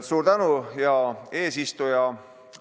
Suur tänu, hea eesistuja!